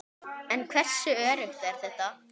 En hversu öruggt er þetta?